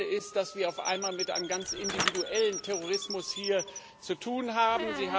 Das eine ist, dass wir es auf einmal mit einem ganz individuellen Terrorismus hier zu tun haben.